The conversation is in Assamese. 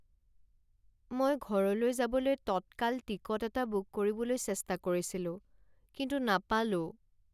মই ঘৰলৈ যাবলৈ টটকাল টিকট এটা বুক কৰিবলৈ চেষ্টা কৰিছিলো কিন্তু নাপালোঁ।